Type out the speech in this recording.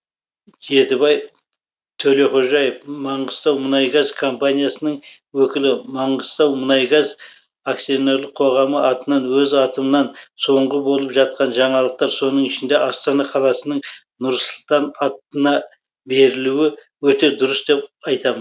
жетібай төлеқожаев маңғыстаумұнайгаз компаниясының өкілі маңғыстаумұнайгаз ақ атынан өз атымнан соңғы болып жатқан жаңалықтар соның ішінде астана қаласының нұр сұлтан атына берілуі өте дұрыс деп айтамын